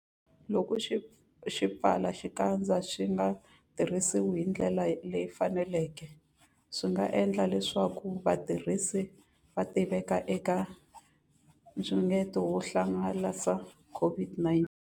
Loko swipfalaxikandza swi nga tirhisiwi hi ndlela leyi faneleke, swi nga endla leswaku vatirhisi va tiveka eka nxungeto wo hangalasa COVID-19.